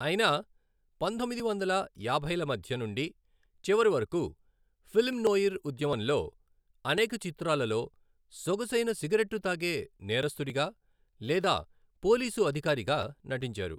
అయిన పంతొమ్మిది వందల యాభైల మధ్య నుండి చివరి వరకు ఫిల్మ్ నోయిర్ ఉద్యమంలో అనేక చిత్రాలలో సొగసైన సిగరెట్టూ తాగే నేరస్థుడిగా లేదా పోలీసు అధికారిగా నటించారు.